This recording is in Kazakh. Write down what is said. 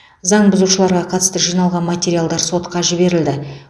заң бұзушыларға қатысты жиналған материалдар сотқа жіберілді